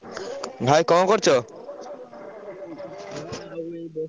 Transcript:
ଭାଇ କଣ କରୁଚ?